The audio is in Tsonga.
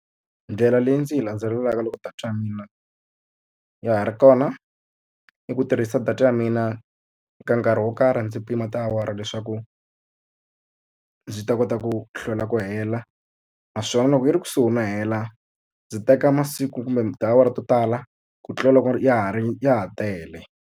Ndlela leyi ndzi yi landzelelaka loko data ya mina ya ha ri kona, i ku tirhisa data ya mina eka nkarhi wo karhi ndzi pima tiawara leswaku ndzi ta kota ku hlwela ku hela. Naswona loko yi ri kusuhi no hela, ndzi teka masiku kumbe tiawara to tala ku tlula loko ya ha ri ya ha tele.